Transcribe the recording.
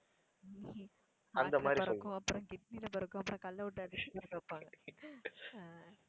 heart ல பறக்கும், அப்புறம் kidney ல பறக்கும், அப்புறம் கல்லை விட்டு அடிச்சு பறக்க வைப்பாங்க அஹ்